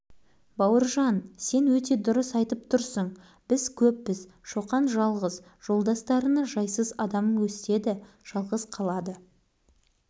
бауыржан сен өте дұрыс айтып тұрсың біз көппіз шоқан жалғыз жолдастарына жайсыз адам өстеді жалғыз қалады